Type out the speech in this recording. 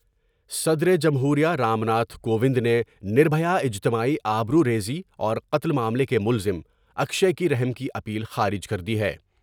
صدر جمہور یہ رام ناتھ کووند نے نر بھیا اجتماعی آبروریزی اور قتل معاملے کے ملزم اکشے کی رحم کی اپیل خارج کر دی ہے ۔